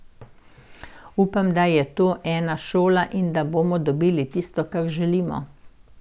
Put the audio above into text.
Upam, da je to ena šola in da bomo dobili tisto, kar želimo.